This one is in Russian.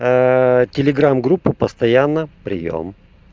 телеграм группы постоянно приём